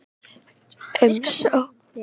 Umsóknirnar vekja ugg